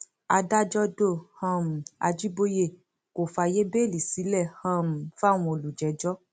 adájọ do um àjibọyé kó fààyè bẹẹlí sílẹ um fáwọn olùjẹjọ